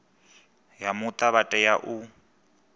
ya muta vha tea u